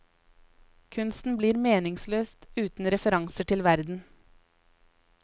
Kunsten blir meningsløs uten referanser til verden.